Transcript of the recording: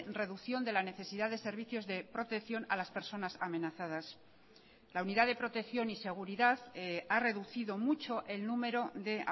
reducción de la necesidad de servicios de protección a las personas amenazadas la unidad de protección y seguridad ha reducido mucho el número de